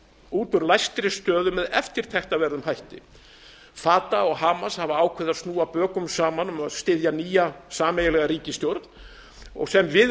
út úr læstri stöðu með eftirtektarverðum hætti fatah og hamas hafa ákveðið að snúa bökum saman um að styðja sameiginlega nýja ríkisstjórn sem við